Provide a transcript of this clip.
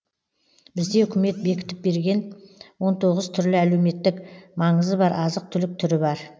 бізде үкімет бекітіп берген он тоғыз түрлі әлеуметтік маңызы бар азық түлік түрі бар